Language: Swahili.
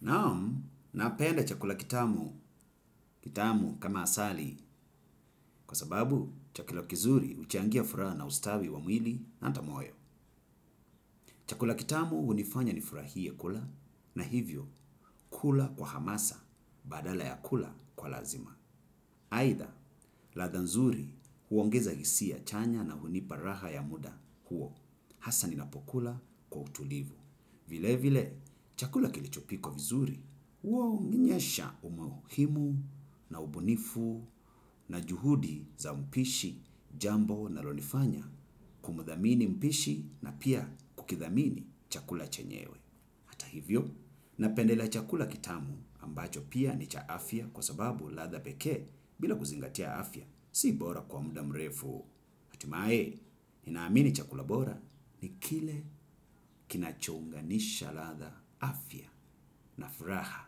Naam, napenda chakula kitamu, kitamu kama asali, kwa sababu chakula kizuri huchangia furaha na ustawi wa mwili na hata moyo. Chakula kitamu hunifanya ni furahiye kula, na hivyo kula kwa hamasa, badala ya kula kwa lazima. Aidha, ladha nzuri huongeza hisia chanya na hunipa raha ya muda huo, hasa ninapokula kwa utulivu. Vile vile, chakula kilichopikwa vizuri, huwa huonyesha umuhimu na ubunifu na juhudi za mpishi, jambo linalo nifanya kumdhamini mpishi na pia kukidhamini chakula chenyewe. Hata hivyo, napendelea chakula kitamu ambacho pia ni cha afya kwa sababu ladha pekee bila kuzingatia afya, si bora kwa muda mrefu. Hatimae, nina amini chakula bora ni kile kinacho unganisha ladha afya na furaha